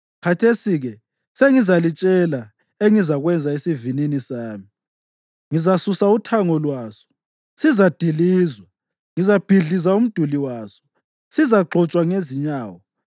Khathesi-ke sengizalitshela engizakwenza esivinini sami: Ngizasusa uthango lwaso; sizadilizwa. Ngizabhidliza umduli waso, sizagxotshwa ngezinyawo.